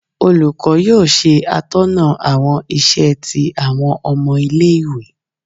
olukọ yóò se atóná awọn isè ti awọn omo ile ìwé